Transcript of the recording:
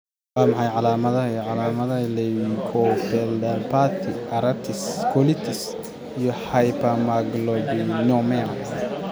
Waa maxay calaamadaha iyo calaamadaha leukoencephalopathy, arthritis, colitis, iyo hypogammaglobulinema?